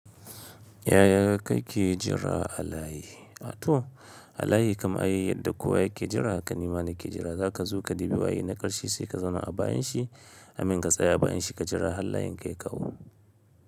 Yaya kake jira a layi? A to a layi kamar yadda kowa yake jira, haka nima na ke jira za ka zo ka debi waye na ƙarshe sai ka zauna a bayan shi, I mean ka tsaya a bayan shi ka jira har layin ka ya kawo.